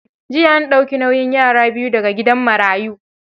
Jiya an dauki nauyin yara biyu da ga gidan marayu.